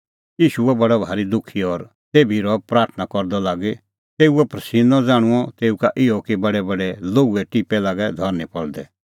ईशू हुअ बडअ भारी दुखी और तेभी रहअ प्राथणां करदअ लागी तेऊओ प्रसिन्नअ ज़ाण्हूंअ तेऊ का इहअ कि बडैबडै लोहूए टिप्पै लागै धरनीं पल़दै